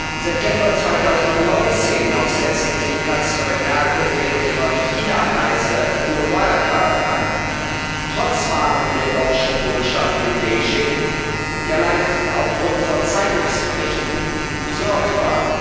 Im September 2019 noch setzte sich Kanzlerin Merkel während ihrer Chinareise für Wirecard ein trotz Warnungen der Deutschen Botschaft in Beijing, die allein aufgrund von Zeitungsberichten besorgt war.